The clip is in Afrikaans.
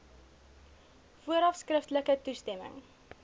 vooraf skriftelike toestemming